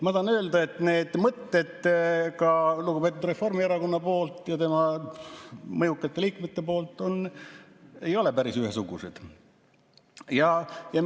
Ma tahan öelda, et need mõtted lugupeetud Reformierakonna ja tema mõjukate liikmete seas ei ole päris ühesugused.